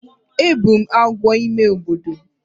Egburu m agwo n’ime obodo